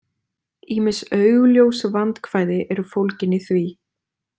Ýmis augljós vandkvæði eru fólgin í því.